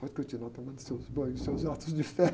Pode continuar tomando seus banhos, seus atos de fé.